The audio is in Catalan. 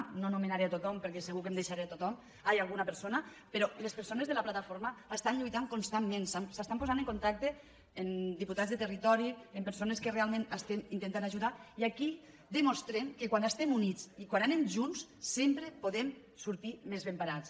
no anomenaré tothom perquè segur que em deixaré alguna persona però les persones de la plataforma estan lluitant constantment s’estan posant en contacte amb diputats del territori amb persones que realment estem intentant ajudar i aquí demostrem que quan estem units i quan anem junts sempre podem sortir més ben parats